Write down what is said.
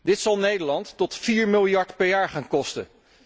Dit zal Nederland tot 4 miljard per jaar gaan kosten.